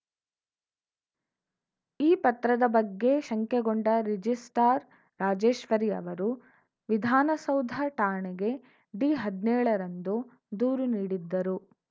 ಈ ಪತ್ರದ ಬಗ್ಗೆ ಶಂಕೆಗೊಂಡ ರಿಜಿಸ್ಟ್ರಾರ್‌ ರಾಜೇಶ್ವರಿ ಅವರು ವಿಧಾನಸೌಧ ಠಾಣೆಗೆ ಡಿಹದ್ನೇಳ ರಂದು ದೂರು ನೀಡಿದ್ದರು